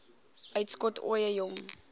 uitskot ooie jong